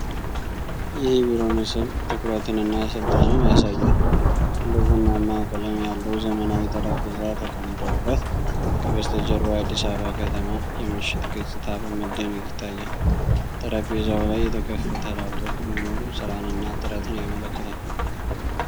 ይህ የቢሮ ምስል ትኩረትንና ሥልጣንን ያሳያል። ትልቅ ቡናማ ቀለም ያለው ዘመናዊ ጠረጴዛ ተቀምጦበት፣ ከበስተጀርባው የአዲስ አበባ ከተማ የምሽት ገጽታ በመደነቅ ይታያል። ጠረጴዛው ላይ የተከፈተ ላፕቶፕ መኖሩ ሥራንና ጥረትን ያመለክታል።